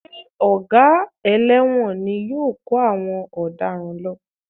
Ṣé Ọ̀gá ẹlẹ́wọ̀n ni yóò kó àwọn ọ̀daràn lọ?